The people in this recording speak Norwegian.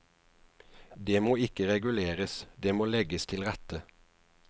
Det må ikke reguleres, det må legges til rette.